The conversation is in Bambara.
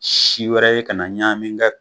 Si wɛrɛ ye ka na ɲamin gɛ